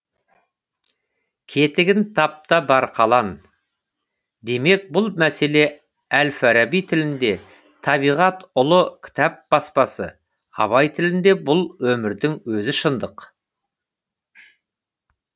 кетігін тап та бар қалан демек бұл мәселе әл фараби тілінде табиғат ұлы кітап баспасы абай тілінде бұл өмірдің өзі шындық